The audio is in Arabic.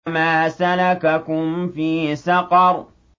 مَا سَلَكَكُمْ فِي سَقَرَ